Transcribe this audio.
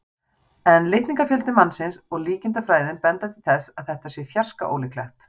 En litningafjöldi mannsins og líkindafræðin benda til þess að þetta sé fjarska ólíklegt.